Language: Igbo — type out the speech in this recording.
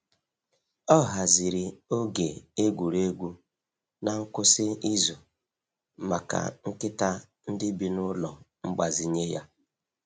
Ọ haziri oge egwuregwu n’ngwụsị izu maka nkịta ndị bi n’ụlọ mgbazinye ya.